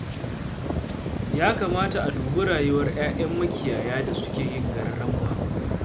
Ya kamata a dubi rayuwar 'ya'yan makiyaya da suke yin gararamba.